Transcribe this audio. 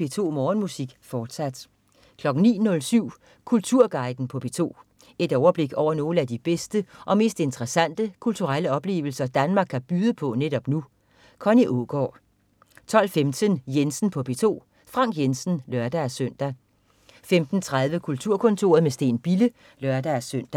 P2 Morgenmusik, fortsat 09.07 Kulturguiden på P2. Et overblik over nogle af de bedste og mest interessante kulturelle oplevelser Danmark kan byde på netop nu. Connie Aagaard 12.15 Jensen på P2. Frank Jensen (lør-søn) 15.30 Kulturkontoret med Steen Bille (lør-søn)